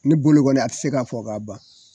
Ne bolo kɔni a ti se ka fɔ ka ban